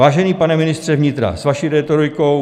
Vážený pane ministře vnitra, s vaší rétorikou...